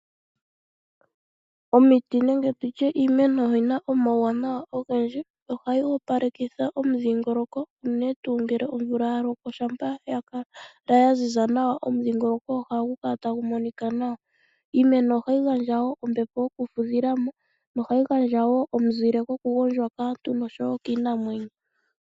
Omiti nenge tutye iimeno oyina omauwanawa ogendji, yo ohayi opalekitha omudhingoloko, unene tuu omvula ya loko, shampa ya kala ya ziza nawa, omudhingoloko ohagu kala tagu monika nawa. Iimeno ohayi gandja wo ombepo yokufudhila mo, nohayi gandja wo omuzile goku gondjwa kaantu noshowo kiinamwenyo.